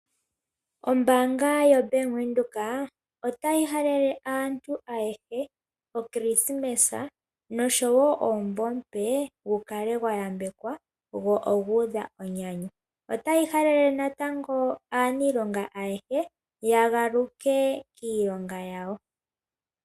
Ombaanga yoBank Windhoek otayi halele aantu ayehe okrisimesa nosho woo omumvo omupe gu kale gwayambekwa , go ogu udha enyanyu. Otayi halele natango aaniilonga ayehe yagaluke kiilonga yawo.